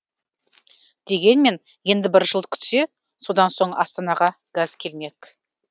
дегенмен енді бір жыл күтсе содан соң астанаға газ келмек